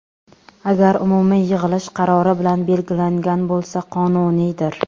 Agar umumiy yig‘ilish qarori bilan belgilangan bo‘lsa, qonuniydir.